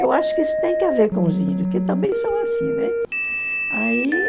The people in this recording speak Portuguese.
Eu acho que isso tem que haver com os índios, que também são assim, né?